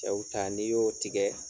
Cɛw ta n'i y'o tigɛ.